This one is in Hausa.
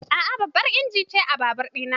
A'a, babban injin ce a babur ɗina